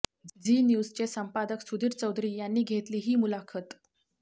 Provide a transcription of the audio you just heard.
Zee न्यूजचे संपादक सुधीर चौधरी यांनी घेतली ही मुलाखत